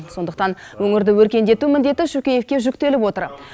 сондықтан өңірді өркендету міндеті шөкеевке жүктеліп отыр